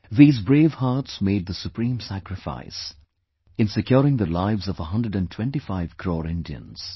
These brave hearts made the supreme sacrifice in securing the lives of a hundred & twenty five crore Indians